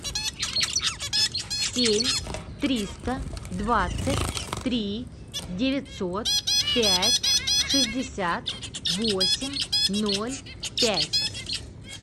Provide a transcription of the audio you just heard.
семь триста двадцать три девятьсот пять шестьдесят восемь ноль пять